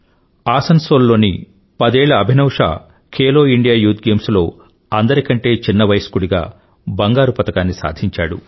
ఆసన్సోల్ లోని పదేళ్ళ Abhinav Shah Khelo India youth games లో అందరికంటే తక్కువ వయస్కుడిగా బంగారు పతకాన్ని సాధించాడు